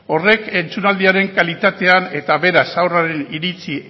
horrek entzunaldiaren kalitatean eta beraz haurraren iritzi